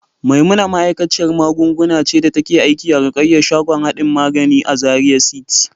Maimuna ma'aikaciyar magunguna ce da take aiki a Rukayya shagon hardin magani a Zaria City.